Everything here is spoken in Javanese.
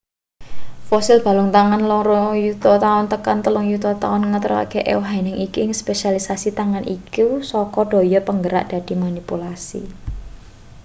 fosil balung tangan loro yuta taun tekan telung yuta taun ngatonake ewahing iki ing spesialisasi tangan iku saka daya penggerak dadi manipulasi